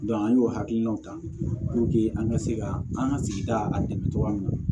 an y'o hakilinaw ta an ka se ka an ka sigida a dɛmɛ cogoya min na